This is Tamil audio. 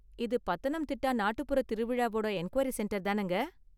இது பத்தனந்திட்டா நாட்டுப்புற திருவிழாவோட என்குயரி சென்டர் தானங்க?